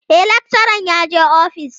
E, lakcharan yaje office.